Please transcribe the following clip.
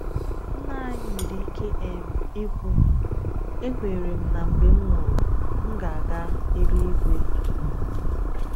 Nna anyị nwere ike um ikwu, “Ekwere m na mgbe m nwụrụ, m ga-aga elu-igwe.”